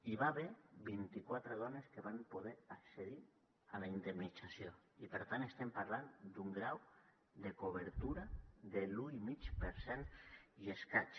hi va haver vint i quatre dones que van poder accedir a la indemnització i per tant estem parlant d’un grau de cobertura de l’un i mig per cent i escaig